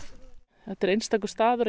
þetta er einstakur staður